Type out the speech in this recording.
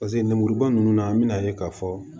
Paseke lemuruba ninnu na an bɛna ye k'a fɔ